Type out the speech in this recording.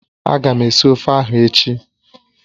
Ága m esi ofe ahụ echi